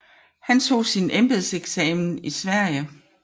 Han tog sin embedseksamen i Sverige